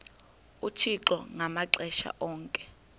uthixo ngamaxesha onke